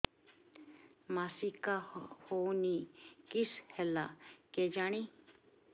ମାସିକା ହଉନି କିଶ ହେଲା କେଜାଣି